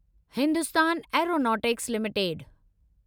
Hindustan Aeronautics limited